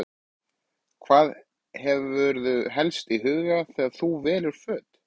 Hvað hefurðu helst í huga þegar þú velur föt?